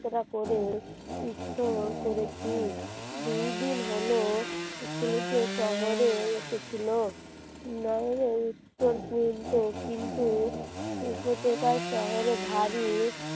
যাত্রা করে উত্তরা করেছি দুই দিন হল ছেলেটি শহরে এসেছিল ন নইলে উত্তর পর্যন্ত কিন্তু প্রতিটা শহরে ভারী